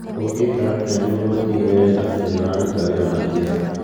" Ũngĩka atĩa nĩguo ũtigĩrĩre atĩ nĩ ũraruta wĩra na kĩyo?